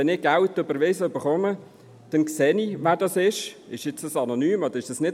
Wenn ich Geld überwiesen erhalte, sehe ich, von wem es kommt, ob es anonym ist oder nicht.